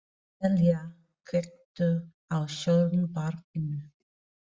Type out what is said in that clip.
Emelía, kveiktu á sjónvarpinu.